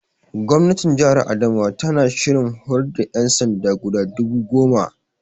Gwamnatin Jihar Adamawa tana shirin horar da ƴansanda guda dubu goma